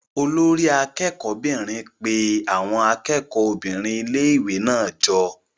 Olori akẹ́kọ̀ọ́ 'bìnrin pe àwọn akẹ́kọ̀ọ́ obìnrin ilé-ìwé náà jọ.